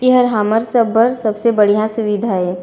एहर हमर सब बर सबसे बढ़िया सुविधा ए।